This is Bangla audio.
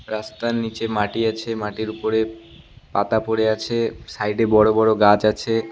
রাস্তার নীচে মাটি আছে মাটির উপরে পাতা পড়ে আছে সাইডে বড়ো বড়ো গাছ আছে।